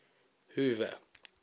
hoover